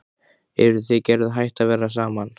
Eruð þið Gerður hætt að vera saman?